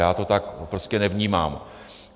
Já to tak prostě nevnímám.